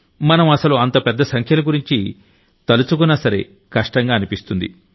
మనం అసలు అంత పెద్ద సంఖ్యల గురించి సలు తలచుకున్నా సరే కష్టంగా అనిపిస్తుంది